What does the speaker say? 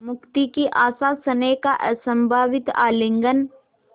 मुक्ति की आशास्नेह का असंभावित आलिंगन